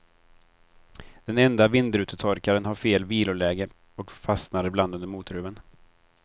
Den enda vindrutetorkaren har fel viloläge och fastnar ibland under motorhuven.